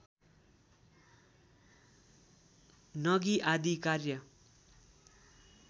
नगि आदि कार्य